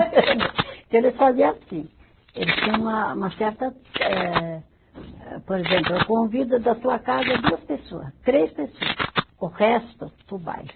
Então eles fazia assim, eles tinham uma uma certa eh, por exemplo, eu convido da tua casa duas pessoa, três pessoa, o resto para o baile.